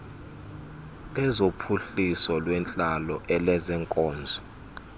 lezophuhliso lwentlalo elezeenkonzo